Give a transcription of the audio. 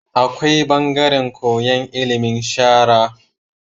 Akwai bangaran koyan ilimin sharaa